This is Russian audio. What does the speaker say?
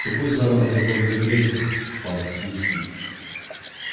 какой заработок в городе бресте пан свицкий